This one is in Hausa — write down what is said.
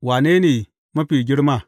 Wane ne mafi girma?